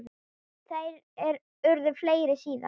Þær urðu fleiri síðar.